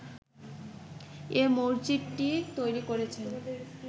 এ মসজিদটি তৈরি করেছেন